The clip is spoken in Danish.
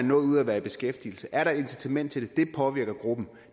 noget ud af at være i beskæftigelse er et incitament til det det påvirker gruppen